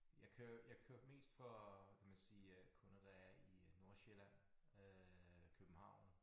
Jeg kører jeg kører mest for kan man sige øh kunder der er i Nordsjælland øh København